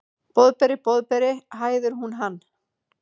Boðberi, Boðberi, hæðir hún hann.